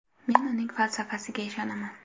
Men uning falsafasiga ishonaman.